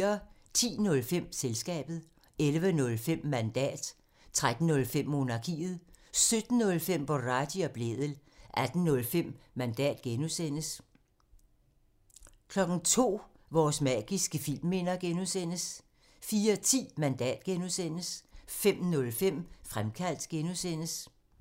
10:05: Den nye rumalder 11:05: Sportsugen 13:05: Mandat special 17:05: Stream and Chill 18:05: Mandat special (G) 02:00: Mandat special (G) 04:10: Selskabet (G) 05:05: Comedy-kontoret (G)